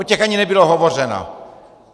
O těch ani nebylo hovořeno!